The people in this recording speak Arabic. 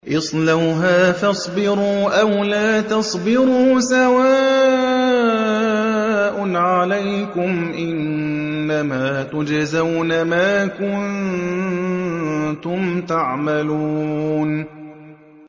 اصْلَوْهَا فَاصْبِرُوا أَوْ لَا تَصْبِرُوا سَوَاءٌ عَلَيْكُمْ ۖ إِنَّمَا تُجْزَوْنَ مَا كُنتُمْ تَعْمَلُونَ